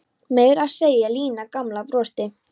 Meira að segja Lína gamla brosti.